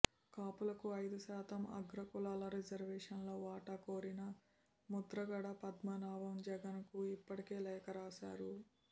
కాపులకు అయిదు శాతం అగ్ర కులాల రిజర్వేషన్లో వాటా కోరిన ముద్రగడ పద్మనాభం జగన్ కు ఇప్పటికే లేఖ రాశారు